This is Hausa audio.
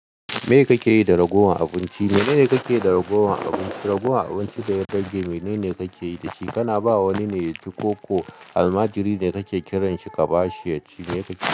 Me kake yi da ragowar abinci? Menene kake yi da ragowar abinci? Ragowar abinci da ya dage menene kake yi da shi? Kana ba wa wani ne, ko kuma almajiri ne da kake kiranshi ka ba shi? Me kake yi?